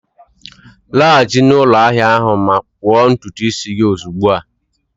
Laghachi na ụlọ ahia ahụ ma kpụọ ntutu isi gị ozugbo a!